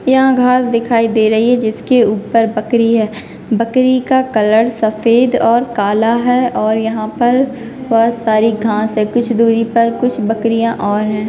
यहां घास दिखाई दे रही है जिसके ऊपर बकरी है बकरी का कलर सफ़ेद और काला है और यहां पर बहुत सारी घास है कुछ दूरी पर कुछ बकरियां और है।